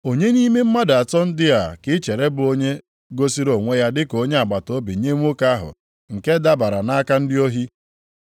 “Onye nʼime mmadụ atọ ndị a ka i chere bụ onye gosiri onwe ya dị ka onye agbataobi nye nwoke ahụ nke dabara nʼaka ndị ohi?”